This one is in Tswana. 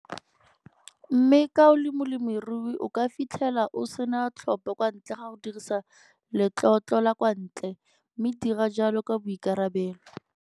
Mme ka o le molemirui o ka fitlhela o se na tlhopho kwa ntle ga go dirisa letlotlo la kwa ntle mme dira jalo ka boikarabelo.